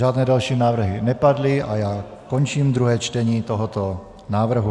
Žádné další návrhy nepadly a já končím druhé čtení tohoto návrhu.